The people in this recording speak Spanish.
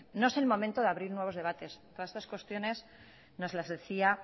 no es el momento de abrir nuevos debates todas estas cuestiones nos la decía